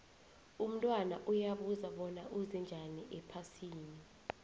umntwana uyabuza bona uze njani ephasini